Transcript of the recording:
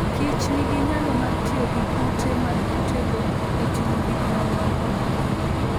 kich nigi nyalo mar tiyo gi kute mag kutego e timo gik mamoko.